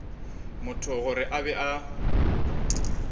motho gore a be a